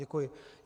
Děkuji.